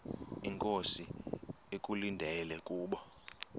inkosi ekulindele kubo